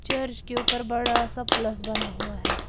Church के ऊपर बड़ा सा प्लस बना हुआ है।